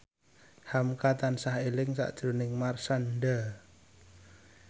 hamka tansah eling sakjroning Marshanda